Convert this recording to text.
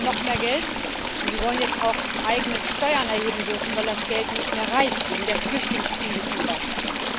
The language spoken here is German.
Sie wollen noch mehr Geld, und Sie wollen jetzt auch eigene Steuern erheben dürfen, weil das Geld nicht mehr reicht, wegen der Flüchtlingskrise zum Beispiel.